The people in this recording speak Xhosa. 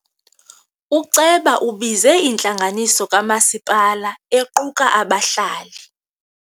Uceba ubize intlanganiso kamasipala equka abahlali.